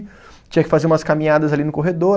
Tinha que fazer umas caminhadas ali no corredor.